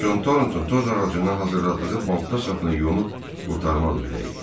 Con Tornton toz ağacından hazırladığı balta sapını yonub qurtarmaq üzrə idi.